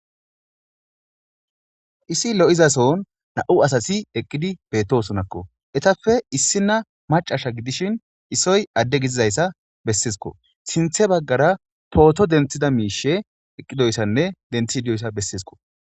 issi lo'izason na'u asasi eqqidi beetosonakko etafe issina macasha gidishin isoy adde gidizayssa bessisiko sinthe baggara pooto denthida miishe eqqidoyssanne denthi idioyssa bessisko